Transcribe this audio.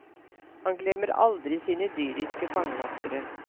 Han glemmer aldri sine dyriske fangevoktere.